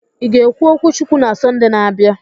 Ị ga-ekwu okwu Chukwu na Sọnde na-abịa?